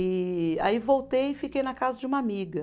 E aí voltei e fiquei na casa de uma amiga.